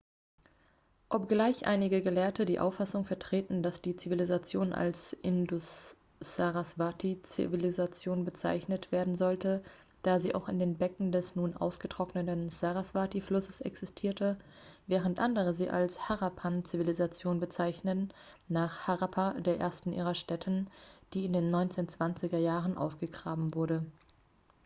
obgleich einige gelehrte die auffassung vertreten dass die zivilisation als indus-sarasvati-zivilisation bezeichnet werden sollte da sie auch in den becken des nun ausgetrockneten sarasvati-flusses existierte während andere sie als harappan-zivilisation bezeichnen nach harappa der ersten ihrer stätten die in den 1920er jahren ausgegraben wurde